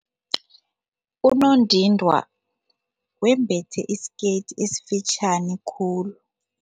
Unondindwa wembethe isikete esifitjhani khulu.